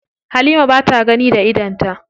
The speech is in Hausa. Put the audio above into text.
Halima ba ta gani da idonta.